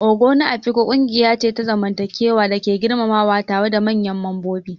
Ogo na Afikpo ƙungiya ce ta zamantakewa da ake girmamawa tare da manyan mambobi.